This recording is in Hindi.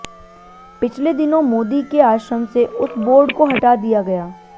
पिछले दिनों मोदी के आश्रम से उस बोर्ड को हटा दिया गया